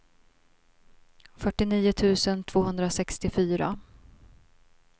fyrtionio tusen tvåhundrasextiofyra